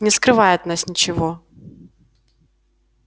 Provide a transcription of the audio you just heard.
не скрывай от нас ничего